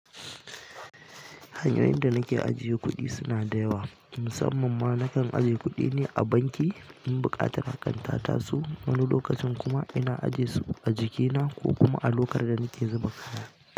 Hanyoyin da nake ajiye kuɗi suna da yawa, musamman ma nakan ajiye kuɗi ni a banki in buƙatar hakan ta taso. Wani lokacin kuma ina ajesu a jikina ko kuma a lokar da nake zuba kaya.